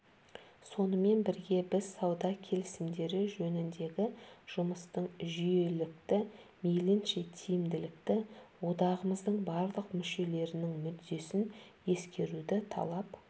сонымен бірге біз сауда келісімдері жөніндегі жұмыстың жүйелілікті мейлінше тиімділікті одағымыздың барлық мүшелерінің мүддесін ескеруді талап